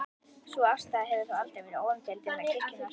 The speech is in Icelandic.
Sú afstaða hefur þó aldrei verið óumdeild innan kirkjunnar.